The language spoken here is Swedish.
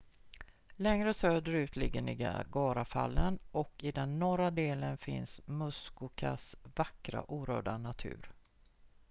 längre söderut ligger niagarafallen och i den norra delen finns muskokas vackra orörda natur